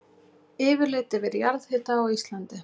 Yfirlit yfir jarðhita á Íslandi.